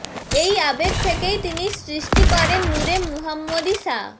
এই আবেগ থেকেই তিনি সৃষ্টি করেন নূরে মুহাম্মদী সা